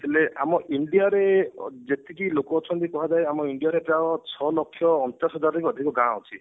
ହେଲେ ଆମ India ରେ ଯେତିକି ଲୋକ ଅଛନ୍ତି ଧରାଯାଉ ଆମ India ର ପ୍ରାୟ ଛ ଲକ୍ଷ ଅଣଚାଶ ହଜାର ରୁ ବି ଅଧିକ ଗାଁ ଅଛି